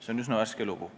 See on üsna värske lugu.